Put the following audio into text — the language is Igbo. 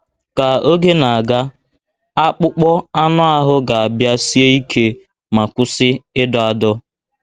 Ka oge na - aga, akpụkpọ anụ ahụ ga - abịa sie ike ma kwụsị ịdọ adọ.